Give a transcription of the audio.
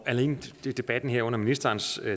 alene i debatten her efter ministerens